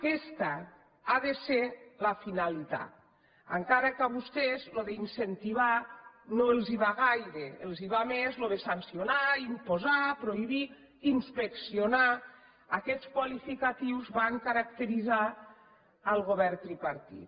aquesta ha de ser la finalitat encara que a vostès això d’incentivar no els va gaire els va més això de sancionar imposar prohibir inspeccionar aquests qualificatius van caracteritzar el govern tripartit